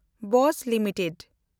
Bose limited